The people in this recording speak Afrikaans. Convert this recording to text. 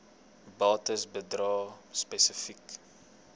bates bedrae spesifiek